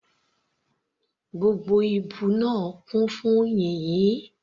Gbogbo ibú náà kún fún yìnyín.